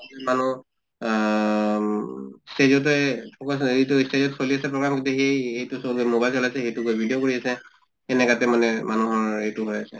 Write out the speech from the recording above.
ইমানো আহ উম stage তে focus এইটো stage ত চলি আছে program কিন্তু সেই এইটো mobile চলাইছে সেইটো গৈ video কৰি আছে এনেকাতে মানে মানুহৰ এইটো হৈ আছে।